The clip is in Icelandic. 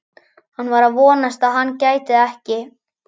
Hann var að vonast til að hann gæti það ekki.